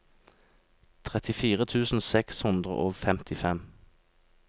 trettifire tusen seks hundre og femtifem